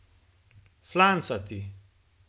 Flancati!